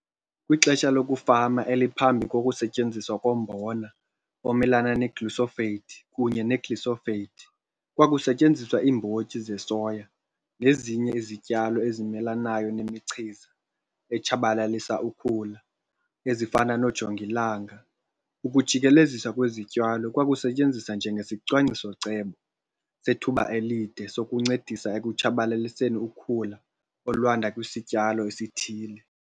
Kwixesha lokufama eliphambi kokusetyenziswa kombona omelana ne-glyphosate kunye ne-glyphosate, kwakusetyenziswa iimbotyi zesoya nezinye izityalo ezimelanayo nemichiza etshabalalisa ukhula ezifana noojongilanga, ukujikeleziswa kwezityalo kwakusetyenziswa njengesicwangciso-cebo sethuba elide sokuncedisa ekutshabalaliseni ukhula olwanda kwisityalo esithile.